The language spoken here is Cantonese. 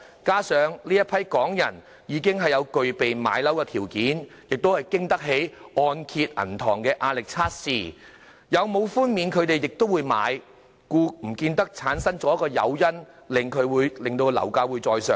加上這群港人已具備買樓的條件，亦經得起提供按揭銀行的壓力測試，有否寬免他們亦會買樓，因此也不見得產生誘因，令樓價再上升。